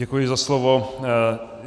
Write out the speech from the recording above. Děkuji za slovo.